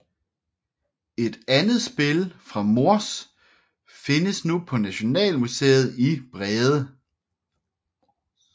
Et andet spil fra Mors findes nu på Nationalmuseet i Brede